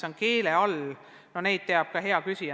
Neid teab hea küsija ka ise.